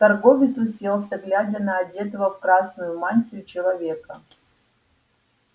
торговец уселся глядя на одетого в красную мантию человека